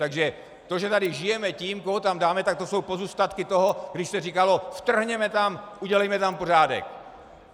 - Takže to, že tady žijeme tím, koho tam dáme, tak to jsou pozůstatky toho, když se říkalo: vtrhněme tam, udělejme tam pořádek.